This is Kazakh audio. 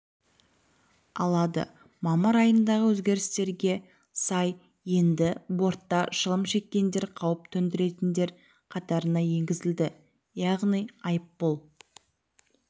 алады мамыр айындағы өзгерістерге сай енді бортта шылым шеккендер қауіп төндіретіндер қатарына енгізілді яғни айыппұл